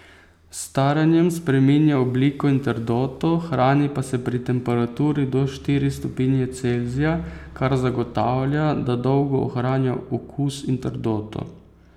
S staranjem spreminja obliko in trdoto, hrani pa se pri temperaturi do štiri stopinje Celzija, kar zagotavlja, da dolgo ohranja okus in trdoto.